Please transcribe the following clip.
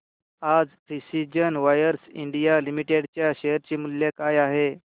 आज precision wires India limited च्या share चे मूल्य काय आहे